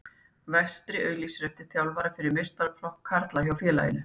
Vestri auglýsir eftir þjálfara fyrir meistaraflokk karla hjá félaginu.